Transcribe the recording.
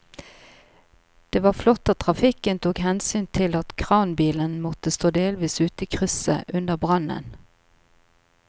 Det var flott at trafikken tok hensyn til at kranbilen måtte stå delvis ute i krysset under brannen.